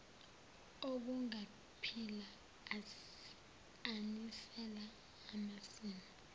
okungaphila anisela amasimu